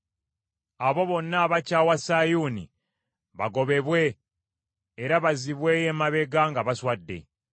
Abo bonna abakyawa Sayuuni bagobebwe era bazzibweyo emabega nga baswadde.